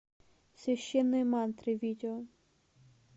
священные мантры видео